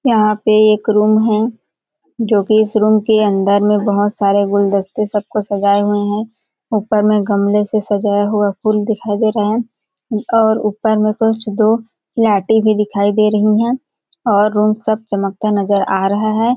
यहाँ पे एक रूम है जोकि इस रूम के अंदर में बहुत सारे गुलदस्ते सब को सजाए हुए है ऊपर में गमले से सजाया हुआ फूल दिखाई दे रहा है और ऊपर में कुछ दो फ्लैटे भी दिखाई दे रहीं है और रूम सब चमकता नजर आ रहा हैं।